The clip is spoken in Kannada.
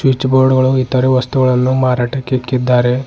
ಸ್ವಿಚ್ ಬೋರ್ಡ್ ಗಳು ಇತರ ವಸ್ತುಗಳನ್ನು ಮಾರಾಟಕ್ಕೆ ಇಕ್ಕಿದ್ದಾರೆ.